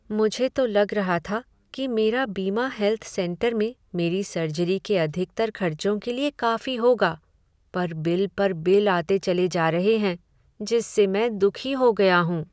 मुझे तो लग रहा था कि मेरा बीमा हेल्थ सेंटर में मेरी सर्जरी के अधिकतर खर्चों के लिए काफी होगा, पर बिल पर बिल आते चले जा रहे हैं जिससे मैं दुखी हो गया हूँ।